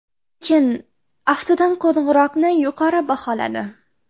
Lekin, aftidan, qo‘ng‘iroqni yuqori baholadi.